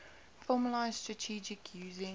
formalised strategies using